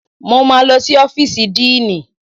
Mo máa lọ sí ọ́fíìsì díìnì